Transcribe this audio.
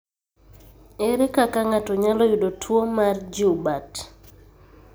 Ere kaka ng'ato nyalo yudo tuwo mar Joubert?